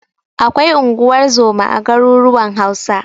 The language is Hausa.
Akwai unguwar zoma a garuruwan Hausa.